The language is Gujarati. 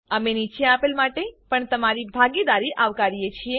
અમે નીચે આપેલ માટે પણ તમારી ભાગીદારી આવકારીએ છીએ